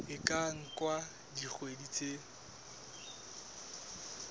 e ka nka dikgwedi tse